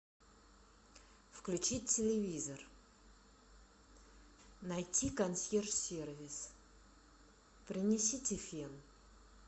включить телевизор найти консьерж сервис принесите фен